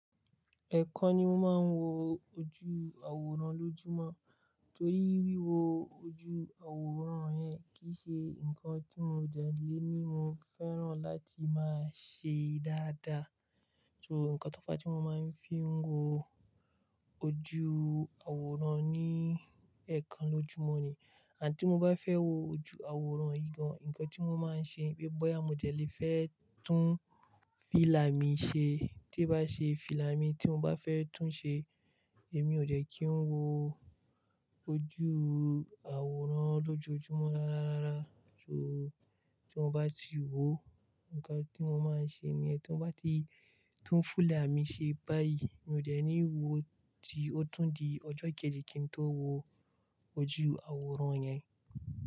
Ẹ̀ẹ̀kan ni mo máa ń wo ojú àwòrán lójúmọ́, torí wíwo ojú àwòrán yẹn kì í ṣe nǹkan tí mo jẹ̀ lé ní mo fẹ́ràn láti máa ṣe dáadáa. So nǹkan tó bá ti mo máa ń fi ń wo ojú àwòrán ni ẹ̀ẹ̀kan lójúmọ́ ni. Àti tí mo bá fẹ́ wo ojú àwòrán igán, nǹkan tí mo máa ń ṣe ni wipé bọ́ya mo dẹ̀ lé fẹ́ tún fílà mi ṣe. Tí bá ṣe fílà mi tí mo bá fẹ́ tún ṣe, èmi ò dẹ̀ kí ń wo ojú àwòrán lójoojúmọ́ rárá rárá. So tí mo bá ti wo, nǹkan tí mo máa ń ṣe ni ẹ́ tí mo bá ti tún filà mi ṣe báyìí, mi ò dẹ̀ ní wo tí ó tun di ọjọ́ kejì kí n tó wo ojú àwòrán yẹn.